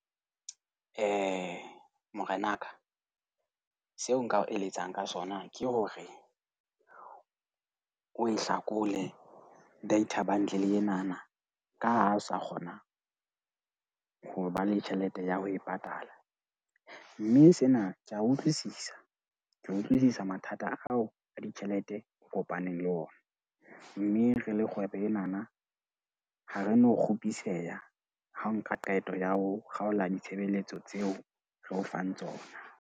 Ee, morenaka. Seo nka o eletsang ka sona ke hore o e hlakole data bundle enana ka ha hao sa kgona ho ba le tjhelete ya ho e patala. Mme sena ke a utlwisisa. Ke a utlwisisa mathata ao a ditjhelete o kopaneng le ona. Mme re le kgwebo enana, ha re no kgupiseha ha o nka qeto ya ho kgaola ditshebeletso tseo re o fang tsona.